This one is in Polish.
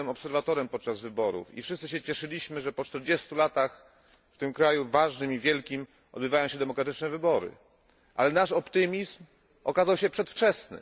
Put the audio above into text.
Sam byłem obserwatorem podczas wyborów i wszyscy cieszyliśmy się, że po 40 latach w tym wielkim i ważnym kraju odbywają się demokratyczne wybory, ale nasz optymizm okazał się przedwczesny.